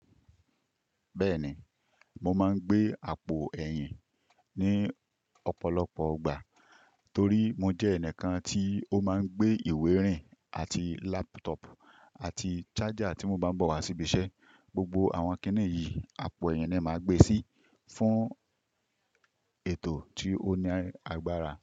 Bẹ́ẹ̀ni, mo máa ń gbé àpò ẹ̀yìn ní ọ̀pọ̀lọpọ̀ gbà torí mo jẹ́ ẹnìkan tí ó máa ń gbé ìwé rìn àti laptop àti charger tí mo bá ń bọ̀ wá sí ibi iṣẹ́. Gbogbo àwọn kìnì yìí, àpò ẹ̀yìn ni è màá gbe sí fún ètò tí ó ní agbára.